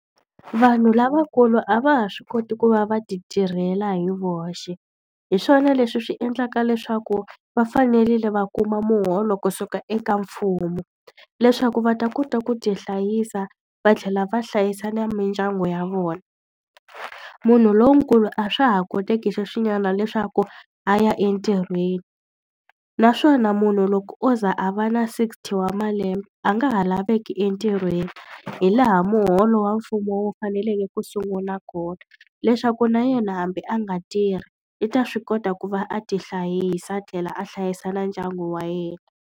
Vanhu lavakulu a va ha swi koti ku va va ti tirhela hi voxe, hi swona leswi swi endlaka leswaku va fanerile va kuma muholo kusuka eka mfumo. Leswaku va ta kota ku ti hlayisa va tlhela va hlayisa na mindyangu ya vona. Munhu lonkulu a swa ha koteki sweswinyana leswaku a ya entirhweni, naswona munhu loko o ze a va na sixty wa malembe, a nga ha laveki entirhweni. Hi laha muholo wa mfumo wu faneleke ku sungula kona. Leswaku na yena hambi a nga tirhi i ta swi kota ku va a ti hlayisa tlhela a hlayisa na ndyangu wa yena.